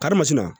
Karimasina